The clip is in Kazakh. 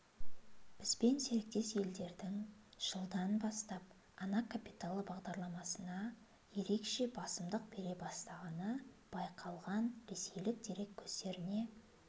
бізбен серіктес елдердің жылдан бастап ана капиталы бағдарламасына ерекше басымдық бере бастағаны байқалған ресейлік дерек көздеріне